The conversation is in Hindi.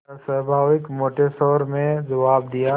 अस्वाभाविक मोटे स्वर में जवाब दिया